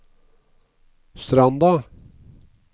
Stranda